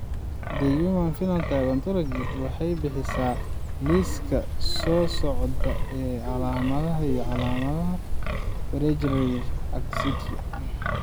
The Human Phenotype Ontology waxay bixisaa liiska soo socda ee calaamadaha iyo calaamadaha Friedreich ataxia.